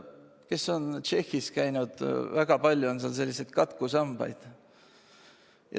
Kes on Tšehhis käinud, seal on väga palju katkusambaid.